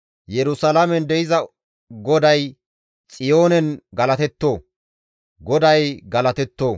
Yerusalaamen de7iza GODAY Xiyoonen galatetto! GODAY galatetto!